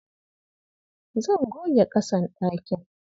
Zan goge ƙasan ɗakin.